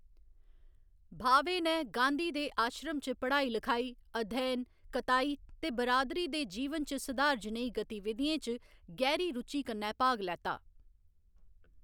भावे नै गांधी दे आश्रम च पढ़ाई लखाई, अध्ययन, कताई ते बिरादरी दे जीवन च सधार जनेही गतिविधियें च गैह्‌री रुचि कन्नै भाग लैता।